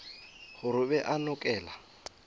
gore o be a nokela